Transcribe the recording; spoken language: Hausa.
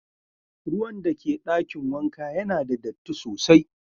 Ruwan da ke dakin wanka Yana da datti sosai.